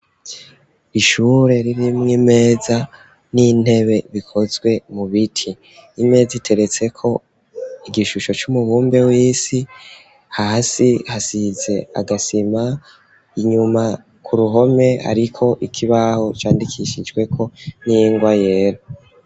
Ishure ririmwo imeza n'intebe bikozwe mu biti. Imeza iteretseko igishusho c'umubumbe w'isi hasi hasize agasima, inyuma ku ruhome hariko ikibaho candikishijweko n'ingwa yera.